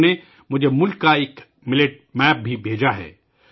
انہوں نے مجھے ملک کا جوار باجرے کا نقشہ بھی بھیجا ہے